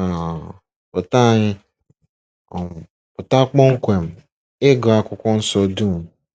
um pụta anyị um pụta kpọmkwem—ịgụ Akwụkwọ Nsọ dum.